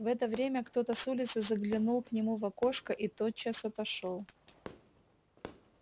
в это время кто-то с улицы заглянул к нему в окошко и тотчас отошёл